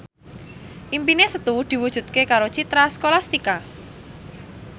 impine Setu diwujudke karo Citra Scholastika